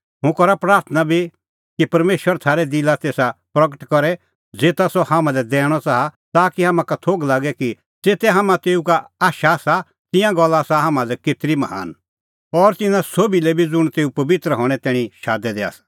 हुंह करा प्राथणां बी कि परमेशर थारै दिलै तेसा गल्ला प्रगट करे ज़ेता सह हाम्हां लै दैणअ च़ाहा ताकि तम्हां का थोघ लागे कि ज़ेते हाम्हां तेऊ का आशा आसा तिंयां गल्ला हाम्हां लै केतरी महान आसा और तिन्नां सोभी लै बी ज़ुंण तेऊ पबित्र हणें तैणीं शादै दै आसा